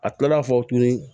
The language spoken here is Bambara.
A kilala fɔ tuguni